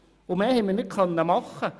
Mehr haben wir nicht machen können.